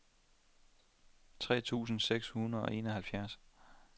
tre tusind seks hundrede og enoghalvfjerds